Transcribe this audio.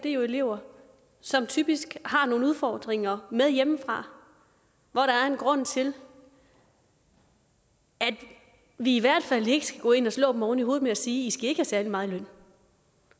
er jo elever som typisk har nogle udfordringer med hjemmefra hvor der er en grund til at vi i hvert fald ikke skal gå ind og slå dem oven i hovedet ved at sige i skal ikke have særlig meget i løn